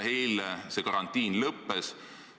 Eile see karantiin lõppes.